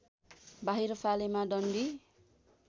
बाहिर फालेमा डन्डी